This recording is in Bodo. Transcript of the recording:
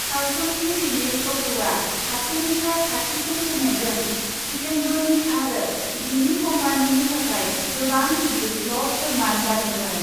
सावथुननि रिलिज अक्टआ खाथिनिफ्राय खाथिसिन फैनायजों जितेन्द्रनि आरो बिनि कम्पानिनि थाखाय गोबां गिदिर फ्लप फोरमान जादोंमोन ।